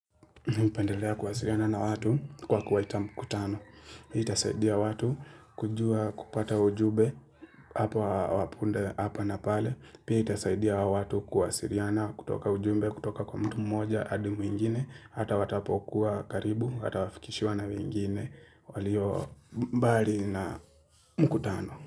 Mihupendelea kuwasiriana na watu kwa kuwaita mkutano. Itasaidia watu kujua kupata ujube hapa wapunde hapa na pale. Pia itasaidia watu kuwa siriana kutoka ujube kutoka kwa mtu mmoja adi mwingine hata watapokuwa karibu hata wafikishiwa na wengine walio bari na mkutano.